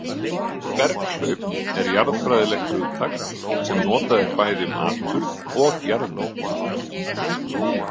Berghlaup er jarðfræðilegt hugtak sem notað er bæði um atburð og jarðmyndun.